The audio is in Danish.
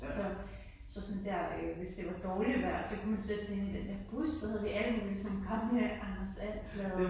Nåh så sådan der øh hvis det var dårligt vejr så kunne man sætte sig ind i den der bus så havde vi alle mulige Anders And blade og